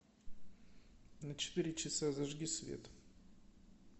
на четыре часа зажги свет